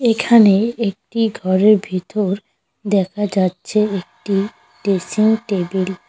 এখানে একটি ঘরের ভিতর দেখা যাচ্ছে একটি ড্রেসিং টেবিল ।